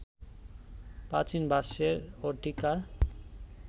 প্রাচীন ভাষ্যের ও টীকার